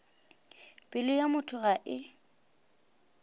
pelo ya motho ga e